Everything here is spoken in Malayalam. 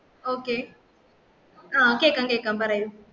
okay ആഹ് കേക്കാം കേക്കാം പറയു